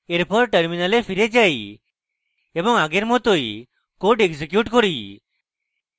এরপর terminal ফিরে যাই এবং আগের মতই code execute করি